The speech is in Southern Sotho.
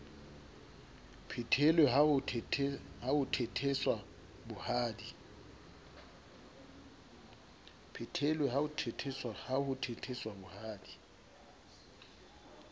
phethelwe ha ho thetheswa bohadi